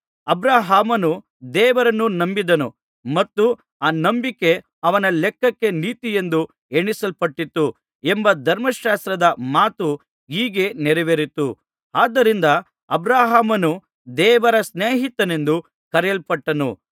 ಅಬ್ರಹಾಮನು ದೇವರನ್ನು ನಂಬಿದನು ಮತ್ತು ಆ ನಂಬಿಕೆ ಅವನ ಲೆಕ್ಕಕ್ಕೆ ನೀತಿಯೆಂದು ಎಣಿಸಲ್ಪಟ್ಟಿತು ಎಂಬ ಧರ್ಮಶಾಸ್ತ್ರದ ಮಾತು ಹೀಗೆ ನೆರವೇರಿತು ಆದ್ದರಿಂದ ಅಬ್ರಹಾಮನು ದೇವರ ಸ್ನೇಹಿತನೆಂದು ಕರೆಯಲ್ಪಟ್ಟನು